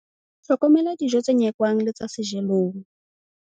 Hlokomela dijo tse nyekwang le tsa sejelong.